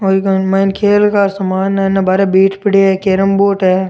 और इक मायने खेल का सामान है हेना बारे बैट पड़िया है कैरम बोर्ड है।